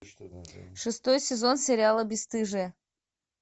шестой сезон сериала бесстыжие